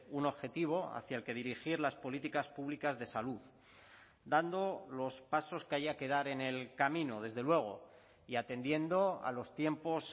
un objetivo hacia el que dirigir las políticas públicas de salud dando los pasos que haya que dar en el camino desde luego y atendiendo a los tiempos